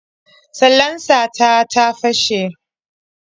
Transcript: Salansa ta ta fashe.